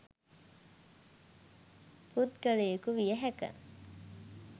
පුද්ගලයෙකු විය හැක.